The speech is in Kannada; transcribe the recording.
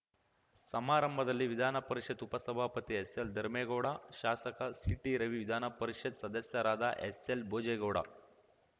ಸಮಾರಂಭದಲ್ಲಿ ವಿಧಾನಪರಿಷತ್ತು ಉಪ ಸಭಾಪತಿ ಎಸ್‌ಎಲ್‌ ಧರ್ಮೇಗೌಡ ಶಾಸಕ ಸಿಟಿ ರವಿ ವಿಧಾನಪರಿಷತ್‌ ಸದಸ್ಯರಾದ ಎಸ್‌ಎಲ್‌ ಭೋಜೇಗೌಡ